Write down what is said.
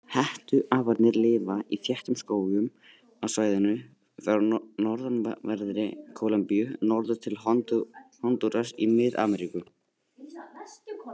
Hettuaparnir lifa í þéttum skógum á svæðinu frá norðanverðri Kólumbíu norður til Hondúras í Mið-Ameríku.